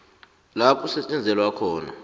la kusetjenzelwa khona